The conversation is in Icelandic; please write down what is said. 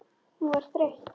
Hún var þreytt.